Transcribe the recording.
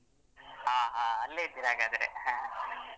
ಹ ಹ ಅಲ್ಲೇ ಇದ್ದೀರಾ ಹಾಗಾದ್ರೆ.